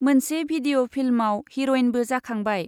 मोनसे भिडिअ' फिल्मआव हिर'इनबो जाखांबाय।